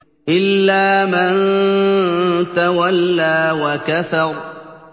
إِلَّا مَن تَوَلَّىٰ وَكَفَرَ